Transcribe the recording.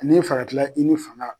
Ni bɛ fɛ a ka kila i ni fanga la.